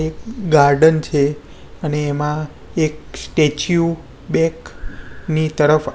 એક ગાર્ડન છે અને એમાં એક સ્ટેચ્યુ બેક ની તરફ.